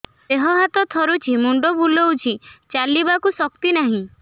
ଦେହ ହାତ ଥରୁଛି ମୁଣ୍ଡ ବୁଲଉଛି ଚାଲିବାକୁ ଶକ୍ତି ନାହିଁ